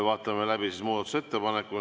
Vaatame läbi muudatusettepanekud.